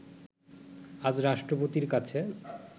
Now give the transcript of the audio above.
আজ রাষ্ট্রপতির কাছে